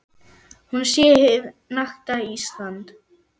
Hún sé hið nakta Ísland.